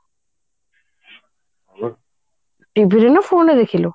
TV ରେ ନା phone ରେ ଦେଖିଲୁ